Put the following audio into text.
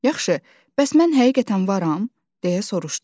"Yaxşı, bəs mən həqiqətən varam?" deyə soruşdum.